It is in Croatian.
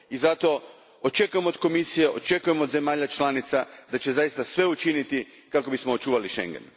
I zato očekujem od Komisije, očekujem od zemalja članica, da učine zaista sve kako bismo očuvali Schengen.